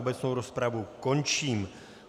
Obecnou rozpravu končím.